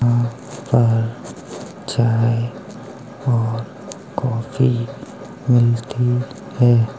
यहाँ पर चाय और कॉफ़ी मिलती है।